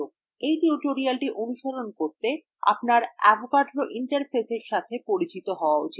এই tutorial অনুসরণ করতে আপনার avogadro interfaceএর সাথে পরিচিত হওয়া উচিত